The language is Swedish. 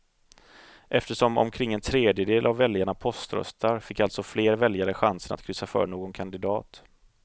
Eftersom omkring en tredjedel av väljarna poströstar fick alltså fler väljare chansen att kryssa för någon kandidat.